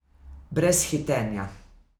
Brez hitenja.